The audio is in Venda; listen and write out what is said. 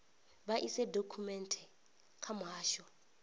vha ise dokhumenthe kha muhasho